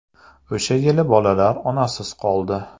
O‘sha yili bolalar onasiz qoldi.